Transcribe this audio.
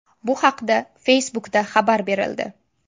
Bu haqda Facebook’da xabar berildi .